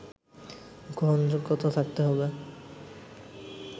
গ্রহণযোগ্যতা থাকতে হবে